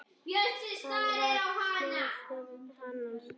Það var móðir hennar.